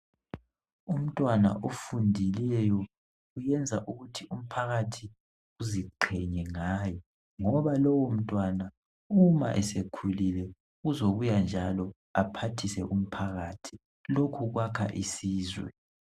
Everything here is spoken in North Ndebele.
Umntwana ofundileyo uyenza ukuthi umphakathi uziqhenye ngaye ngoba lowo mntwana uma sekhulile uzobuya njalo aphathise umphakathi, lokhu kwakha isizwe.